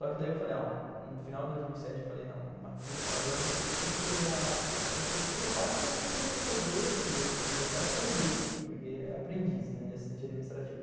Só que daí eu falei ó, no final de dois mil e sete, eu falei não, aqui não está dando porque tudo que eu já, tudo o que eu faço eu já sei fazer e, assim, eu quero aprender, porque é aprendiz, né, de assistência administrativo.